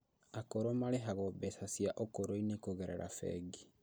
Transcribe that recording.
Akũrũ marĩhagwo mbeca cia ũkũrũinĩ kũgerera bengi